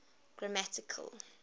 grammatical